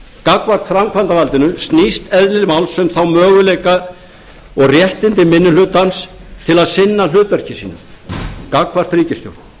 gagnvart framkvæmdarvaldinu snýst eðli málsins um þá möguleika og réttindi minni hlutans til að sinna hlutverki sínu gagnvart ríkisstjórn